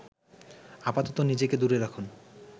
আপাতত নিজেকে দূরে রাখুন